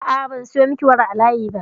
A'a, ban sayo miki wara a layi ba.